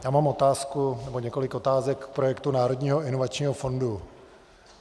Já mám otázku, nebo několik otázek, k projektu Národního inovačního fondu.